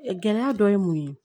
Gɛlɛya dɔ ye mun ye